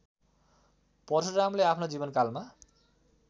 परशुरामले आफ्नो जीवनकालमा